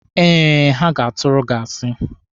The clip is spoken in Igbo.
Eh, ha ga-atụrụ gị asi.